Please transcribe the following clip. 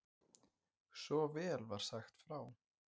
Svo vel var sagt frá.